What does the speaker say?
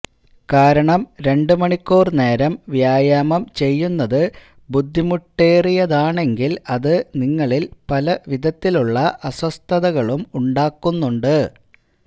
കാരണം രണ്ട് മണിക്കൂർ നേരം വ്യായാമം ചെയ്യുന്നത് ബുദ്ധിമുട്ടേറിയതാണെങ്കിൽ അത് നിങ്ങളിൽ പല വിധത്തിലുള്ള അസ്വസ്ഥതകളും ഉണ്ടാക്കുന്നുണ്ട്